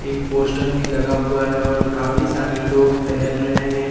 एक पोस्टर भी लगा हुआ है और काफी सारे लोग टहल रहे हैं।